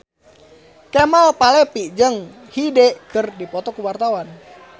Kemal Palevi jeung Hyde keur dipoto ku wartawan